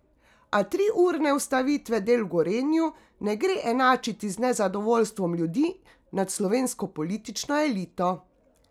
A triurne ustavitve del v Gorenju ne gre enačiti z nezadovoljstvom ljudi nad slovensko politično elito.